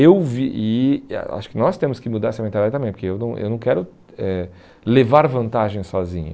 Eu vi, e a acho que nós temos que mudar essa mentalidade também, porque eu não eu não quero eh levar vantagem sozinho.